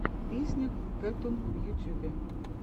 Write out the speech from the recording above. песня кэттун в ютюбе